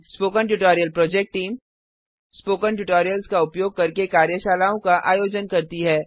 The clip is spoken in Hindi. spoken tutorial project team spoken tutorials का उपयोग करके कार्यशालाओं का आयोजन करती है